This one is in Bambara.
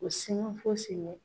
U si man fosi